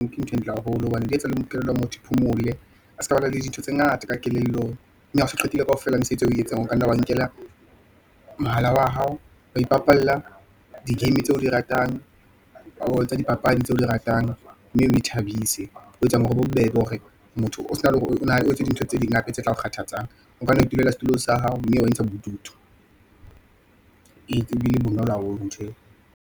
Ke ntho e ntle haholo, hobane di etsa le kelello ya motho phomole. A seka ba na le dintho tse ngata ka kelellong, mme ha o so qetile kaofela mosebetsi o e yetsang, o kanna wa nkela mohala wa hao, wa ipapalla di-game tse o di ratang, oo tsa dipapadi tseo di ratang, mme o thabise, ho etsang hore bobebe hore motho o sena le hore , o etse dintho tse ding hape tse tla o kgathatsang. O ka nwa itulela setulo sa hao, mme intshang bodutu , ee ke bile bonolo haholo ntho eo.